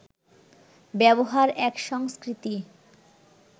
ব্যবহার এক সংস্কৃতি